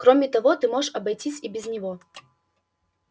кроме того ты можешь обойтись и без него